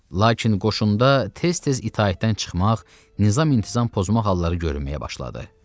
Lakin qoşunda tez-tez itaətdən çıxmaq, nizam intizam pozmaq halları görünməyə başladı.